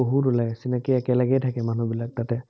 বহুত ওলায়, একেলগে থাকে, মানুহবিলাক তাতে